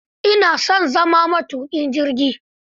Ina so na zama matuƙin jirgi.